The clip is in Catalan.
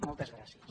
moltes gràcies